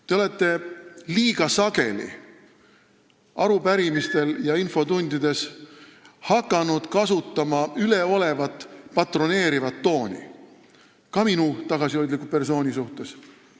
Te olete arupärimistele vastates ja infotundides hakanud liiga sageli kasutama üleolevat patroneerivat tooni, ka minu tagasihoidliku persooniga rääkides.